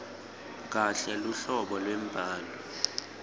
kahle luhlobo lwembhalo